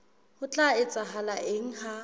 ho tla etsahala eng ha